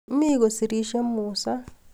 Mi kosirishei Musa